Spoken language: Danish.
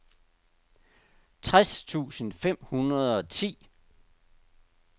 tres tusind fem hundrede og ti